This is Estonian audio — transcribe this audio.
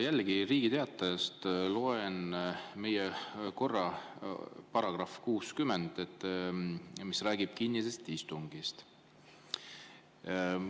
Jällegi, Riigi Teatajast loen meie korra § 60, mis räägib kinnisest istungist.